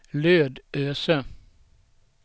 Lödöse